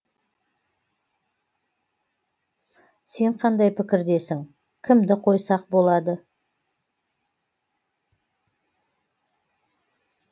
сен қандай пікірдесің кімді қойсақ болады